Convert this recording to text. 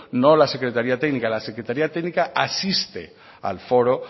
no la secretaría técnica la secretaría técnica asiste al foro